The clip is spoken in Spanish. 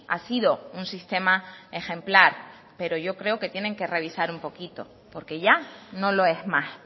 ha sido un sistema ejemplar pero yo creo que tiene que revisar un poquito porque ya no lo es más